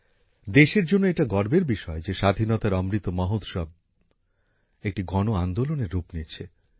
দেশের জন্য এটা গর্বের বিষয় যে স্বাধীনতার অমৃত মহোৎসব একটি গণআন্দোলনের রূপ নিচ্ছে